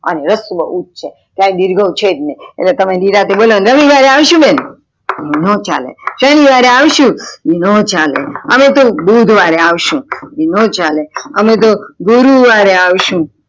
અને રસ્વ ઉ જ છે ક્યાય દીર્ઘાય છેજ નય એટલે તમે નિરાતે બોલો ને રવિવારે આવશું બેન ન ચાલે શનિવારે આવશું ના ચાલે અમે તો બુધવારે આવશું ન ચાલે અમે ગુરુ વારે આવશું